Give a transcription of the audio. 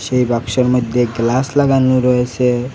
এই বাক্সের মধ্যে গ্লাস লাগানো রয়েসে।